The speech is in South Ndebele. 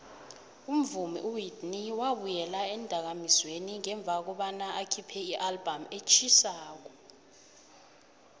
umvumi uwhitney wabuyela eendakamizweni ngemva kobana akhiphe ialbum etjhisako